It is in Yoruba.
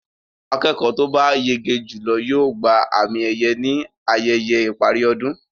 Akẹ́kọ̀ọ́ to bá yege jùlọ yóò gba àmì-ẹ̀yẹ ní ayẹyẹ ìparí ọdún.